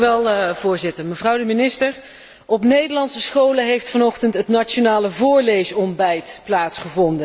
Voorzitter, minister, op Nederlandse scholen heeft vanochtend het nationale voorleesontbijt plaatsgevonden.